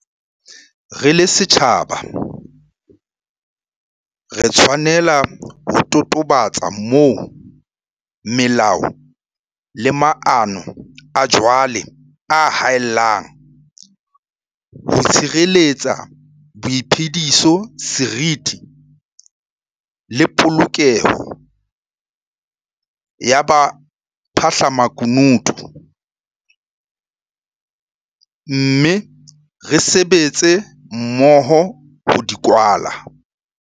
Re le setjhaba, re tshwanela ho totobatsa moo melao le maano a jwale a haellang ho tshireletsa boiphediso, seriti le polokeho ya baphahlamaku nutu mme re sebetse mmoho ho di kwala.